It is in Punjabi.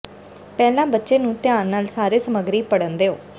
ਪਹਿਲਾਂ ਬੱਚੇ ਨੂੰ ਧਿਆਨ ਨਾਲ ਸਾਰੇ ਸਮੱਗਰੀ ਪੜ੍ਹਨ ਦਿਓ